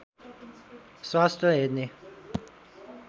स्वास्थ्य हेर्ने